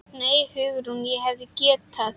Nei, Hugrún, hún hefði getað.